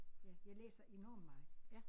Ja jeg læser enormt meget